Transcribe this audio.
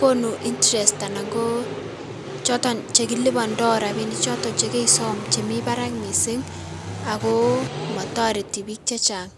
konu interest anan ko choton chekilipondo rabinik choton chekesom chemi barak missing' ago motoreti biik chechang'.